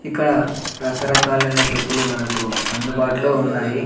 ఇక్కడ రకరకాలైన చెప్పులు మనకు అందుబాటు లో ఉన్నాయి.